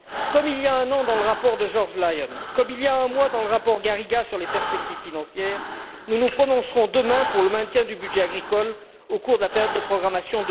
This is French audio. Comme il y a un an dans le rapport de George Lyon, comme il y a un mois dans le rapport Garriga sur les perspectives financières, nous nous prononcerons demain pour le maintien du budget agricole au cours de la période de programmation